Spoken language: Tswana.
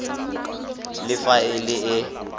le fa e le e